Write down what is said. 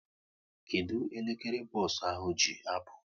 Kedụ elekere bos ahụ ji apụ?